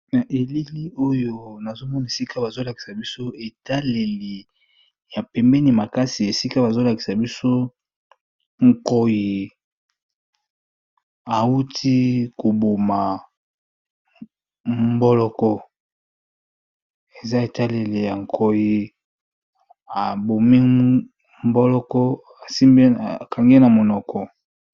Na elili oyo nazomona esika bazolakisa biso etaleli ya pembeni makasi esika bazolakisa biso nkoyi awuti koboma mboloko eza etaleli ya nkoyi abomi mboloko asimbi akangi ye na monoko.